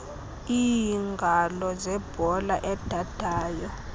iingalo zebhola edadayo